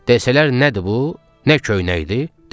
Desələr nədir bu, nə köynəkdir?